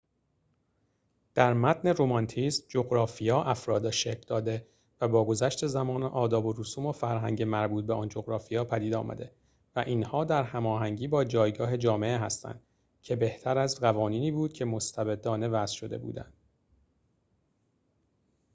در متن رمانتیسم جغرافیا افراد را شکل داده و با گذشت زمان آداب و رسوم و فرهنگ مربوط به آن جغرافیا پدید آمده و اینها در هماهنگی با جایگاه جامعه هستند که بهتر از قوانینی بود که مستبدانه وضع شده بودند